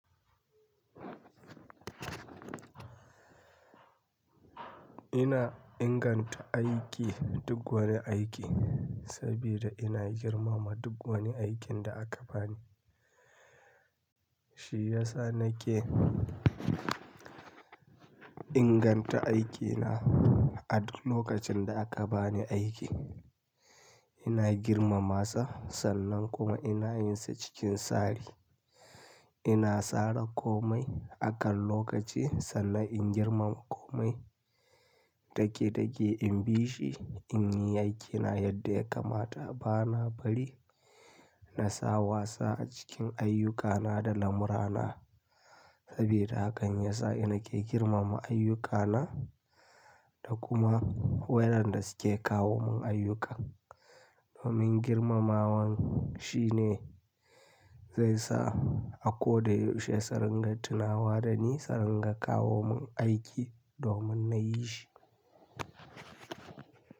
Ina inganta aiki duk wani aiki saboda ina girmama duk wani aikin da aka bani. Shi ya sa nake inganta aikina a duk lokacin da aka bani aiki. Ina girmama sa sannan kuma ina yin sa cikin tsari. Ina tsara komai akan lokaci sannan in girmama komai dage dage in bi shi in yi aikina yadda ya kamata. Bana bari na sa wasa a cikin ayyukana da lamurana saboda hakan ya sa ina ke girmama ayyukana da kuma waɗanda suke kawo mun ayyuka. Domin girmamawan shine zai sa a koyaushe tsarin gattina wa da ni tsarin ga kawo mun aiki domin na yi shi.